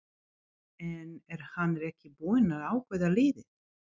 En er hann ekki búinn að ákveða liðið?